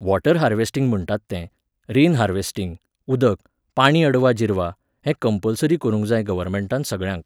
water harvesting म्हणटात तें, rain harvesting, उदक, पाणी अडवा जिरवा, हें कंम्पलसरी करूंक जाय गव्हरमेंटान सगळ्यांक